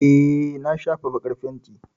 Eh, na shafa baƙar fenti.